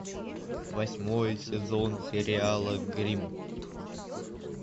восьмой сезон сериала гримм